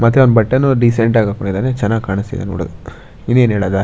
ಮದ್ವೇಗ್ ಬಟ್ಟೆಗಲ್ ಡಿಸೆಂಟ್ ಹಾಕೊಂಡಿದಾನೆ ಚೆನ್ನಾಗ್ ಕಾಣಿಸ್ತಿದೆ ನೊಡೊದ್ ಇನ್ನೇನ್ ಹೇಳದ.